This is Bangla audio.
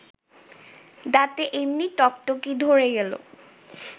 দাঁতে এমনি ঠকঠকি ধ’রে গেল